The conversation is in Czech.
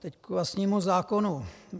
Teď k vlastnímu zákonu.